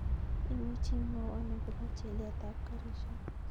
Imuchi imwowon agopo chilet ap karishek